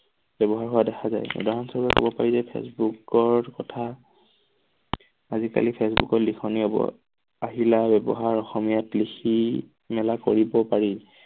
ব্যৱহাৰ হোৱা দেখা যায় উদাহৰণস্বৰূপে কব পাৰি যে ফেচবুকৰ কথা আজি কালি ফেচবুকৰ লিখনি হব আহিলা ব্যৱহাৰ অসমীয়াত লিখি মেলা কৰিব পাৰি।